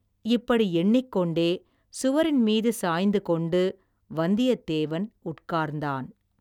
இப்படி எண்ணிக்கொண்டே, சுவரின் மீது சாய்ந்துகொண்டு, வந்தியத்தேவன் உட்கார்ந்தான்.